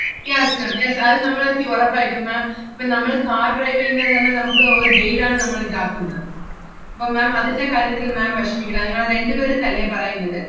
yeah yes ma'am yes അത് നമ്മള് തി~ ഒറപ്പായിട്ടും ma'am ഇപ്പം നമ്മള് car drive എയ്യുന്നത് തന്നെ നമ്മക്ക് ഒരു guide ആണ് നമ്മളെ ഇതാക്കുന്നത്. അപ്പം ma'am അതിന്‍റെ കാര്യത്തിൽ ma'am വെഷമിക്കണ്ട. നിങ്ങള് രണ്ട് പേര് ~ന്നല്ലേ പറയുന്നത്?